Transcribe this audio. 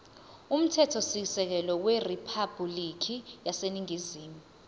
umthethosisekelo weriphabhulikhi yaseningizimu